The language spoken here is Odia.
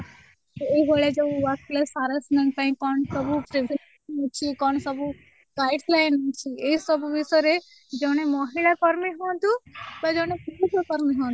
ଏଇଭଳିଆ ଯୋଉ workplace harassment ପାଇଁ କ'ଣ ସବୁ କ'ଣ ସବୁ guideline ଅଛି ଏଇସବୁ ବିଷୟରେ ଜଣେ ମହିଳା କର୍ମୀ ହୁଅନ୍ତୁ ବା ଜଣେ ପୁରୁଷ କର୍ମୀ ହୁଅନ୍ତୁ